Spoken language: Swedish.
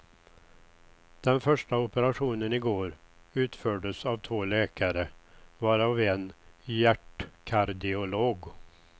Den första operationen i går utfördes av två läkare, varav en hjärtkardiolog.